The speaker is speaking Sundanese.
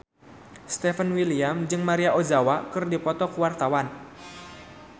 Stefan William jeung Maria Ozawa keur dipoto ku wartawan